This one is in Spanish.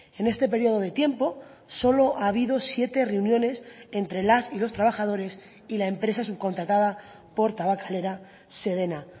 en este periodo de tiempo solo ha habido siete reuniones entre las y los trabajadores y la empresa subcontratada por tabakalera sedena